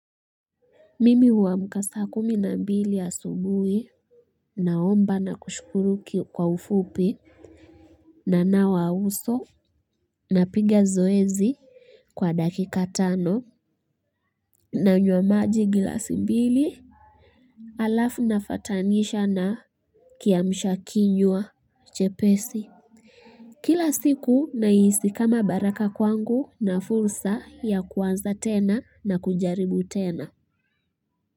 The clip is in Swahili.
Mimi huamka saa kumi na mbili ya asubuhi. Naomba na kushukuru kwa ufupi. Na nawa uso. Na piga zoezi. Kwa dakika tano. Nanywa maji glasi mbili. Alafu nafatanisha na kiamsha kinywa chepesi. Kila siku na hisi kama baraka kwangu na fursa ya kuanza tena na kujaribu tena.